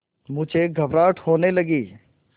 मुझे घबराहट होने लगी